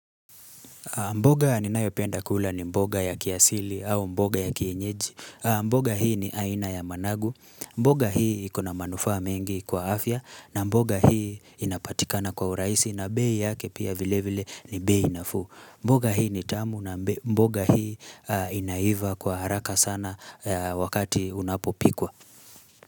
Mboga ninayopenda kula ni mboga ya kiasili au mboga ya kienyeji mboga hii ni aina ya managu mboga hii ikona manufaa mengi kwa afya na mboga hii inapatikana kwa uraisi na bei yake pia vile vile ni bei nafuu mboga hii ni tamu na mboga hii inaiva kwa haraka sana wakati unapopikwa.